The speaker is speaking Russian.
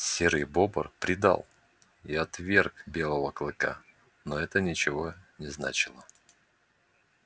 серый бобр предал и отверг белого клыка но это ничего не значило